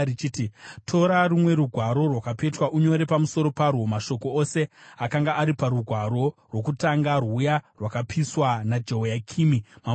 “Tora rumwe rugwaro rwakapetwa unyore pamusoro parwo mashoko ose akanga ari parugwaro rwokutanga rwuya rwakapiswa naJehoyakimi mambo weJudha.